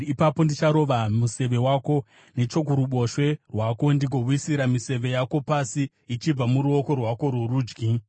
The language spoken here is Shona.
Ipapo ndicharova museve wako nechokuruboshwe rwako ndigowisira miseve yako pasi ichibva muruoko rwako rworudyi.